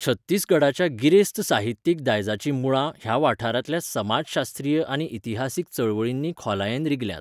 छत्तीसगडाच्या गिरेस्त साहित्यिक दायजाचीं मुळां ह्या वाठारांतल्या समाजशास्त्रीय आनी इतिहासीक चळवळींनी खोलायेन रिगल्यांत.